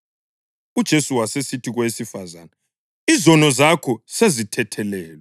UJesu wasesithi kowesifazane, “Izono zakho sezithethelelwe.”